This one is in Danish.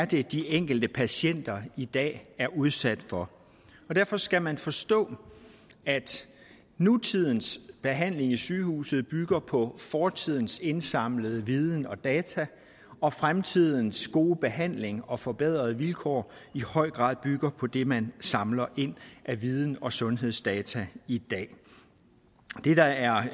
det er de enkelte patienter i dag er udsat for derfor skal man forstå at nutidens behandling på sygehuset bygger på fortidens indsamlede viden og data og at fremtidens gode behandling og forbedrede vilkår i høj grad bygger på det man samler ind af viden og sundhedsdata i dag det der er